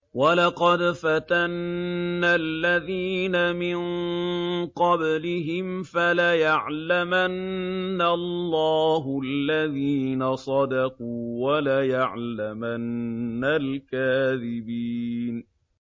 وَلَقَدْ فَتَنَّا الَّذِينَ مِن قَبْلِهِمْ ۖ فَلَيَعْلَمَنَّ اللَّهُ الَّذِينَ صَدَقُوا وَلَيَعْلَمَنَّ الْكَاذِبِينَ